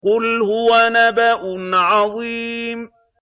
قُلْ هُوَ نَبَأٌ عَظِيمٌ